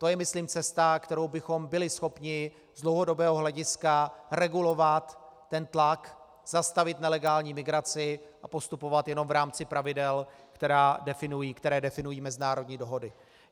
To je myslím cesta, kterou bychom byli schopni z dlouhodobého hlediska regulovat ten tlak, zastavit nelegální migraci a postupovat jenom v rámci pravidel, která definují mezinárodní dohody.